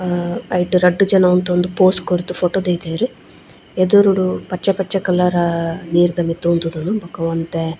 ಆ ಐಟ್ ರಡ್ಡ್ ಜನ ಉಂತೊಂದು ಪೋಸ್ ಕೊರ್ದು ಫೊಟೊ ದೈದೆರ್ ಎದುರುಡು ಪಚ್ಚೆ ಪಚ್ಚೆ ಕಲರಾ ನೀರ್ದ ಮಿತ್ ಉಂತುದು ಬೊಕ ಒಂತೆ.